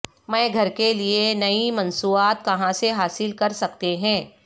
میں گھر کے لئے نئی مصنوعات کہاں سے حاصل کر سکتے ہیں